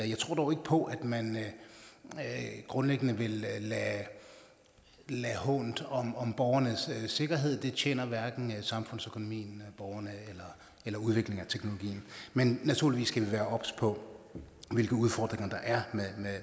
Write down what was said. jeg tror dog ikke på at man grundlæggende vil lade lade hånt om om borgernes sikkerhed det tjener hverken samfundsøkonomien borgerne eller udviklingen af teknologien men naturligvis skal vi være obs på hvilke udfordringer der er